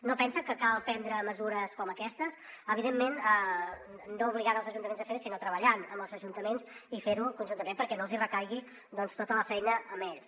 no pensa que cal prendre mesures com aquestes evidentment no obligant els ajuntaments a fer sinó treballant amb els ajuntaments i fent ho conjuntament perquè no els hi recaigui doncs tota la feina a ells